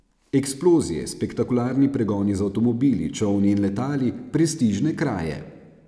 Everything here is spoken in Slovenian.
Eksplozije, spektakularni pregoni z avtomobili, čolni in letali, prestižne kraje ...